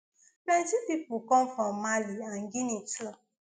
plenty pipo come from mali and guinea too